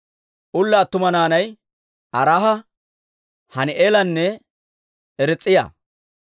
Ulla attuma naanay Araaha, Hani'eelanne Riis'iyaa.